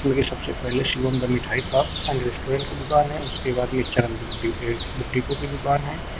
जो कि सबसे पहले शिवम का मिठाई शॉप एंड रेस्टोरेंट की दुकान है उसके बाद दुकान है।